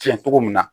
Tiɲɛ cogo min na